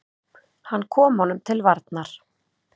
Hann kom honum til varnar.